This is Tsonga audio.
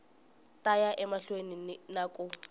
ta ya emahlweni na ku